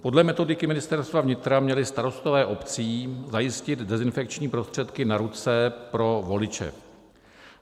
Podle metodiky Ministerstva vnitra měli starostové obcí zajistit dezinfekční prostředky na ruce pro voliče.